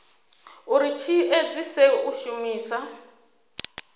uri tshi edzise u shumisa